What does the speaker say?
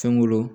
Fɛn wolo